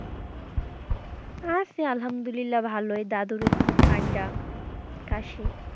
আছে আলামদুলিল্লা ভালোই দাদুর একটু ঠান্ডা, কাশি।